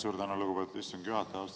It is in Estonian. Suur tänu, lugupeetud istungi juhataja!